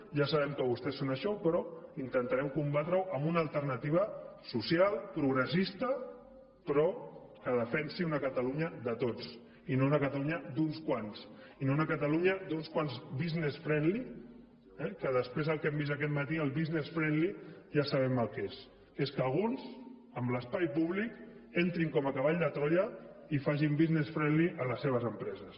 ja sabem que vostès són això però intentarem combatre ho amb una alternativa social progressista però que defensi una catalunya de tots i no una catalunya d’uns quants i no una catalunya d’uns quants business friendlydel que hem vist aquest matí el business friendly ja sabem el que és que és que alguns en l’espai públic entrin com a cavall de troia i facin business friendlyamb les seves empreses